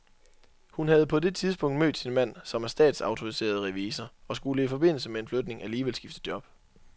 Hun havde på det tidspunkt mødt sin mand, som er statsautoriseret revisor, og skulle i forbindelse med en flytning alligevel skifte job.